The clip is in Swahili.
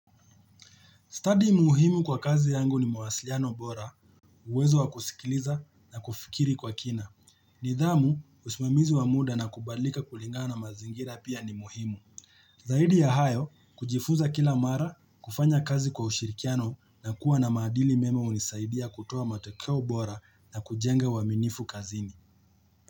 Study muhimu kwa kazi yangu ni mawasiliano bora, uwezo wa kusikiliza na kufikiri kwa kina. Nidhamu, usimamizi wa muda na kubadilika kulingana na mazingira pia ni muhimu. Zaidi ya hayo, kujifuza kila mara, kufanya kazi kwa ushirikiano na kuwa na maadili mema hunisaidia kutoa matokeo bora na kujenga uaminifu kazini.